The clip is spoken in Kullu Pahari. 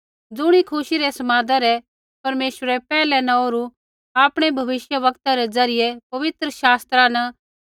ज़ुणी खुशी रै समादा रै परमेश्वरै पैहलै न ओरु आपणै भविष्यवक्तै रै ज़रियै पवित्र शास्त्रा न